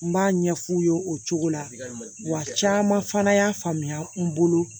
N b'a ɲɛf'u ye o cogo la wa caman fana y'a faamuya n bolo